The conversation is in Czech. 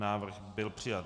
Návrh byl přijat.